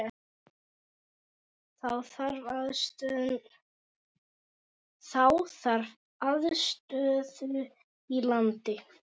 Þá þarf aðstöðu í landi.